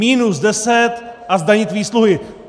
Minus deset a zdanit výsluhy.